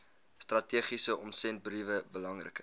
strategiese omsendbriewe belangrike